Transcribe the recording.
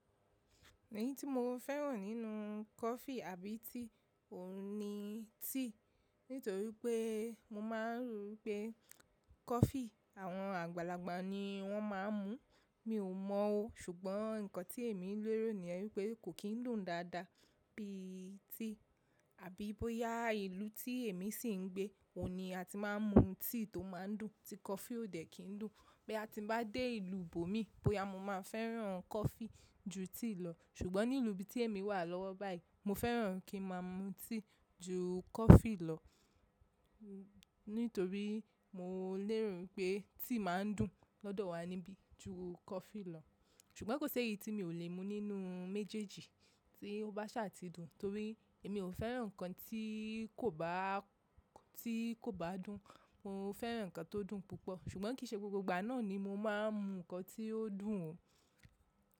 Èyí tí mo fẹ́ràn nínú coffee àbí tea òun ni tea. Nítorí pé mo máa ń rò pé coffee àwọn àgbàlagbà ni wọ́n máa ń mu. Mi ò mọ ó, ṣùgbọ́n nǹkan tí èmi ń lérò ni yen wípé kò kín dùn dáadáa bíi tea. Àbí bóyá ìlú tí èmi sì ń gbé, òun ni a ti máa ń mu tea tó máa ń dùn tí coffee ò dẹ̀ kín dùn. Boya ti n bá dé ìlú bómì, bóyá mo máa fẹ́ràn coffee ju tea lọ. Ṣùgbọ́n ní ilú ibi tí èmi wà lọ́wọ́ báyìí, mo fẹ́ràn kí n máa mu tea ju coffee lọ. Nítorí mo léro wipé tea ma ń dùn lọ́dọ̀ wa níbí ju coffee lọ. Ṣùgbọ́n kò ṣi éyí tí mi ò lè mu nínú méjèèjì tí ó bá sàtì dùn. Torí èmi ò fẹ́ràn nǹkan tí kò bá, tí kò bá dùn. Mo fẹ́ràn nǹkan tó dùn púpọ̀. Ṣùgbọ́n kì í ṣe gbogbo ìgbà náà ni mo máa ń mu nǹkan tí ó dùn o.